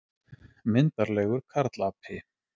Myndarlegur karlapi.